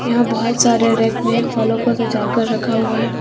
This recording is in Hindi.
यहां बहुत सारे रैक में फलों को सजा कर रखा हुआ है।